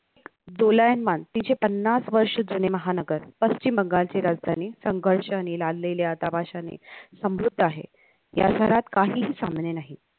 दोलायमान तिचे पन्नास वर्ष जुने महानगर पश्चिम बंगालची राजधानी संघर्षने लादलेल्या तमाशाने समृद्ध आहे या घरात काहीही सामने नाहीत